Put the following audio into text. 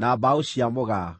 na mbaũ cia mũgaa;